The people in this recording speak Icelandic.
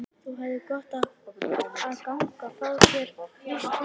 Þú hefðir gott af að ganga. fá þér frískt loft?